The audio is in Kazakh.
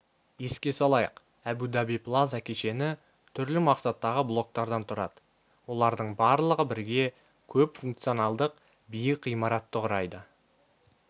еске салайық әбу-даби плаза кешені түрлі мақсаттағы блоктардан тұрады олардың барлығы бірге көпфункционалдық биік ғимаратты құрайды